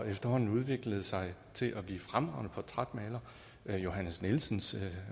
efterhånden udviklede sig til at blive fremragende portrætmalere der er johannes nielsens